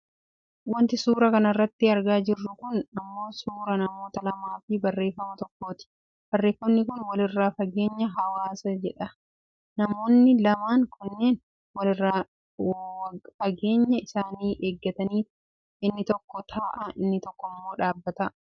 Wanti suuraa kanarratti argaa jirru kun ammoo suuraa namoota lamaafi barreefama tokkooti. Barreefamni kun " walirraa fageenya hawaasa" jedha. Namoonni lamaan kunneen walirraa wageenya isaanii eeggataniit inni tokko taa'a inni tokkommoo dhaabbata.